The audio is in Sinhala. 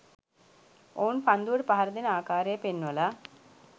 ඔවුන් පන්දුවට පහර දෙන ආකාරය පෙන්වල